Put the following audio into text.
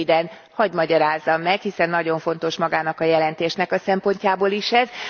Röviden hadd magyarázzam meg, hiszen nagyon fontos magának a jelentésnek a szempontjából is ez.